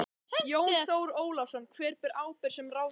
Jón Þór Ólafsson: Hver ber ábyrgð sem ráðherra?